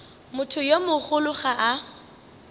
motho yo mogolo ga a